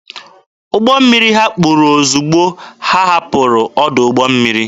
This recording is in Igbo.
Ụgbọ mmiri ha kpuru ozugbo ha hapụrụ ọdụ ụgbọ mmiri.